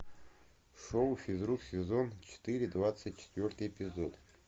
шоу физрук сезон четыре двадцать четвертый эпизод